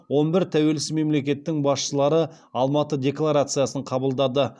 он бір тәуелсіз мемлекеттің басшылары алматы декларациясын қабылдады